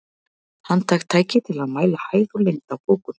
Handhægt tæki til að mæla hæð og lengd á bókum.